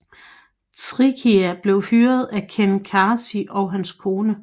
Tricia blev hyret af Ken Casey og hans kone